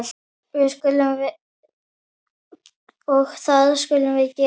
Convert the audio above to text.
Og það skulum við gera.